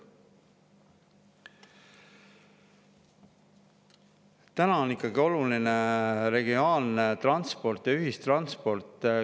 Täna on ikkagi oluline regionaalne transport ja ühistransport.